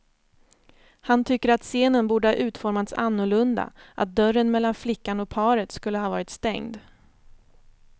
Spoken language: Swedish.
Han tycker att scenen borde ha utformats annorlunda, att dörren mellan flickan och paret skulle ha varit stängd.